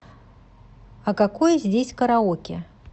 а какое здесь караоке